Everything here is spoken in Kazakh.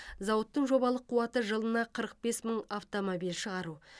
зауыттың жобалық қуаты жылына қырық бес мың автомобиль шығару